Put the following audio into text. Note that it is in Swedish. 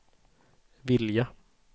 vilja